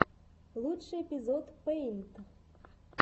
лучший эпизод пэйнт